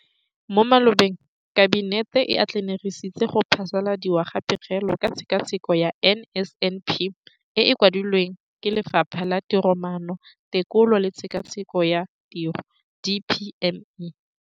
Mo malobeng Kabinete e atlenegisitse go phasaladiwa ga Pegelo ka Tshekatsheko ya NSNP e e kwadilweng ke Lefapha la Tiromaano, Tekolo le Tshekatsheko ya Tiro, DPME].